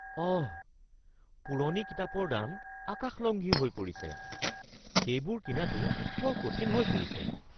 অহ! পুৰণি কিতাপৰ দাম আকাশলংঘী হৈ পৰিছে। সেইবোৰ কিনাটো বৰ কঠিন হৈ পৰিছে।